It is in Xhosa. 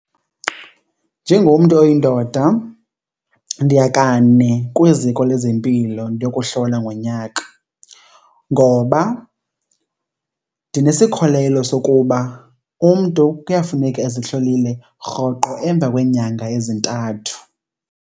Njengomntu oyindoda ndiya kane kwiziko lezempilo ndiyokuhlola ngonyaka ngoba ndinesikholelo sokuba umntu kuyafuneka ezihlolile rhoqo emva kweenyanga ezintathu.